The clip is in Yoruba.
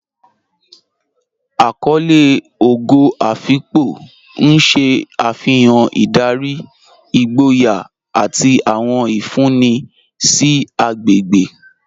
Àkọlé Ógò Afíkpò n ṣẹ́ afihàn ìdárí, ìgbòyà, àti àwọn ìfúnńì sí àgbégbe.